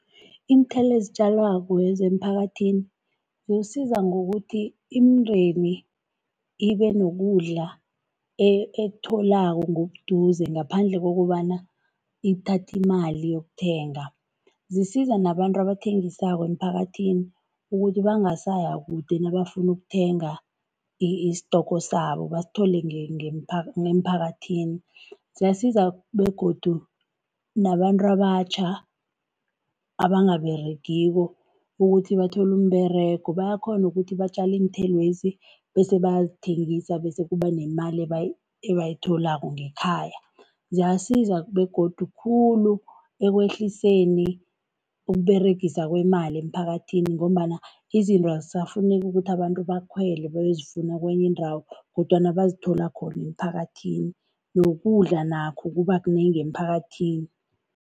Iinthelo ezitjalwako emphakathini, zisiza ngokuthi imindeni ibe nokudla ekutholako ngobuduze, ngaphandle kokobana ithathe imali iyokuthenga. Zisiza nabantu abathengisako emphakathini ukuthi bangasaya kude nabafuna ukuthenga isitoko, sabo basithole emphakathini. Ziyasiza begodu nabantu abatjha abangaberegiko, ukuthi bathole umberego. Bayakghona ukuthi batjale iinthelwezi, bese bayazithengisa bese kuba nemali ebayitholako ngekhaya. Ziyasiza begodu khulu ekwehliseni ukUberegiswa kwemali emphakathini, ngombana izinto azisafuneki ukuthi abantu bakhwele bayozifuna kenye indawo, kodwana bazithola khona emphakathini. Nokudla nakho kuba kunengi emphakathini.